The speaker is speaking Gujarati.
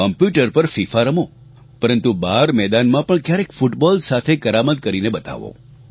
કોમ્પ્યુટર પર ફિફા રમો પરંન્તુ બહાર મેદાનમાં પણ ક્યારેક ફૂટબોલ સાથે કરામત કરીને બતાવો